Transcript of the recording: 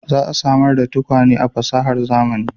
Za a samar da tukwane da fasahar zamani